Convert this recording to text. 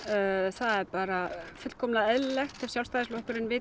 það er bara fullkomlega eðlilegt ef Sjálfstæðisflokkurinn vill